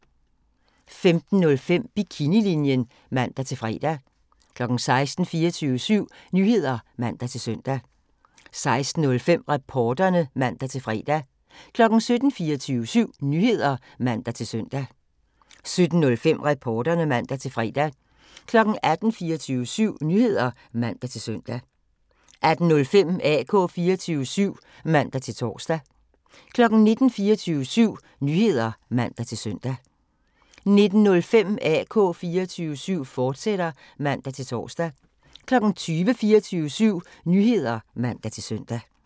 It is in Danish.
15:05: Bikinilinjen (man-fre) 16:00: 24syv Nyheder (man-søn) 16:05: Reporterne (man-fre) 17:00: 24syv Nyheder (man-søn) 17:05: Reporterne (man-fre) 18:00: 24syv Nyheder (man-søn) 18:05: AK 24syv (man-tor) 19:00: 24syv Nyheder (man-søn) 19:05: AK 24syv, fortsat (man-tor) 20:00: 24syv Nyheder (man-søn)